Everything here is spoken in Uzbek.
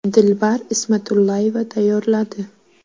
Dilbar Ismatullayeva tayyorladi.